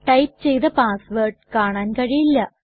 type ചെയ്ത password കാണാൻ കഴിയില്ല